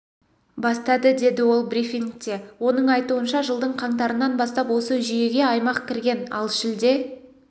бастады деді ол брифингте оның айтуынша жылдың қаңтарынан бастап осы жүйеге аймақ кірген ал шілде